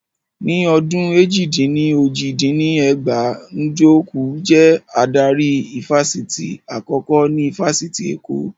Ní ọdún èjì-dín-ní-ojì dín ní ẹgbàá, Njoku jẹ́ adarí ifásitì àkọ́kọ́ ní ifásitì Èkó